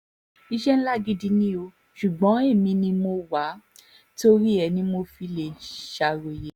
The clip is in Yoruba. iṣẹ́ ńlá gidi ni ò ṣùgbọ́n èmi ni mo wá a torí ẹ̀ ni mi ò fi lè ṣàròyé